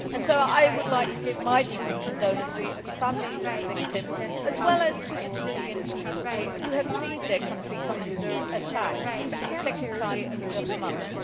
I would therefore like to offer my deepest condolences to the families of the victims, as well as to the Tunisian people, who have seen their country come under attack for the second time in just months.